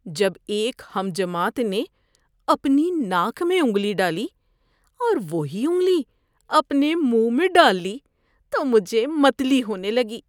جب ایک ہم جماعت نے اپنی ناک میں انگلی ڈالی اور وہی انگلی اپنے منہ میں ڈال لی تو مجھے متلی ہونے لگی۔